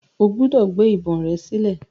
O gbúdọ̀ gbé ìbọn rẹ sílẹ̀.